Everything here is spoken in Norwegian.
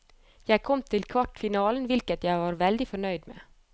Jeg kom til kvartfinalen, hvilket jeg var veldig fornøyd med.